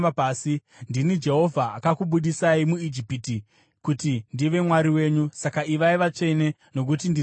Ndini Jehovha akakubudisai muIjipiti kuti ndive Mwari wenyu; saka ivai vatsvene nokuti ndiri mutsvene.